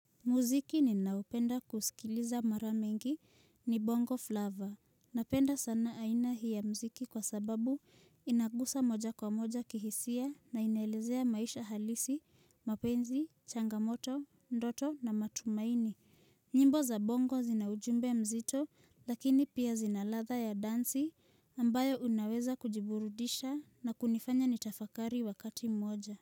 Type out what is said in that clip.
Muziki ni naupenda kusikiliza mara mingi ni bongo flavor. Napenda sana aina hii ya muziki kwa sababu inagusa moja kwa moja kihisia na inelezea maisha halisi, mapenzi, changamoto, ndoto na matumaini. Nyimbo za bongo zinaujumbe mzito lakini pia zina ladha ya dansi ambayo unaweza kujiburudisha na kunifanya nitafakari wakati moja.